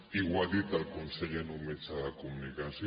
i ho ha dit el conseller en un mitjà de comunicació